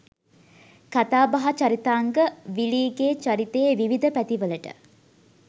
කතාබහ චරිතාංග විලීගේ චරිතයේ විවිධ පැති වලට